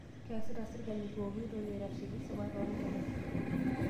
Keesita serkali pooki toki aitasheki sipat oo nkera